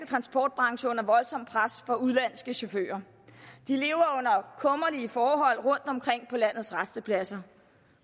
transportbranche under voldsomt pres fra udenlandske chauffører de lever under kummerlige forhold rundtomkring på landets rastepladser